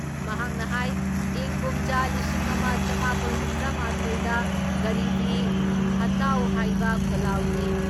ꯃꯍꯥꯛꯅ ꯍꯥꯏ ꯏꯪ ꯀꯨꯝꯖꯥ ꯂꯤꯁꯤꯡ ꯑꯃ ꯆꯃꯥꯄꯜ ꯍꯨꯝꯗ꯭ꯔꯥ ꯃꯥꯊꯣꯏ ꯗ ꯒꯔꯤꯕꯤ ꯍꯇꯥꯎ ꯍꯥꯏꯕ ꯈꯣꯜꯂꯥꯎꯒꯤ